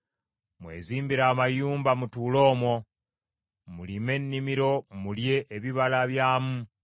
“Mwezimbire amayumba mutuule omwo; mulime ennimiro mulye ebibala byamu.